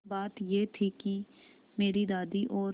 बात यह थी कि मेरी दादी और